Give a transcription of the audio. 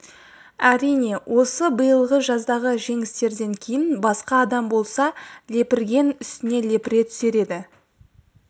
әрине осы биылғы жаздағы жеңістерден кейін басқа адам болса лепірген үстіне лепіре түсер еді